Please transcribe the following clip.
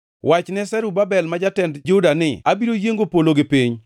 “Wachne Zerubabel ma jatend Juda ni, ‘Abiro yiengo polo gi piny.